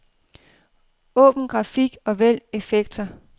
Åbn grafik og vælg effekter.